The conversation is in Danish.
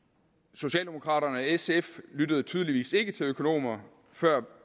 socialdemokraterne og sf lyttede tydeligvis ikke til økonomer før